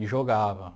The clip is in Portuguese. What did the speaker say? E jogava.